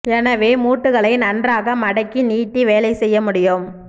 எனவே மூட்டுகளை நன்றாக மடக்கி நீட்டி வேலை செய்ய முடியும்